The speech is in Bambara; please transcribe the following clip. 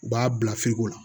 U b'a bila firigo la